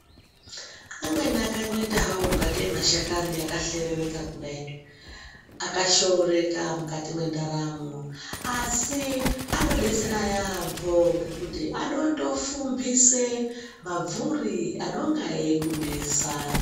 Amweni akangoita hawo ingatei mahlakani kudai akahlerereka akashooreka mukati mwendaramo asi anodetsera yaampo ngekuti anotofumpise mabvuri anenga eikunesa.